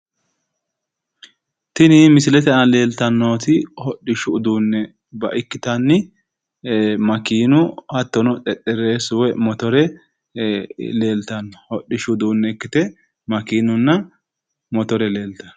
Tini misilete aana leeltannoti hodhishu udduunne ikkite makiinunna motore leeltanno